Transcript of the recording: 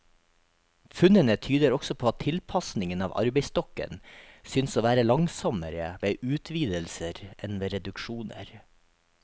Funnene tyder også på at tilpasningen av arbeidsstokken synes å være langsommere ved utvidelser enn ved reduksjoner.